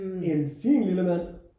En fin lille mand